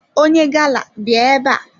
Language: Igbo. Onye gala bịa ebe a!